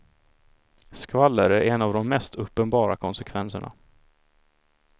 Skvaller är en av de mest uppenbara konsekvenserna.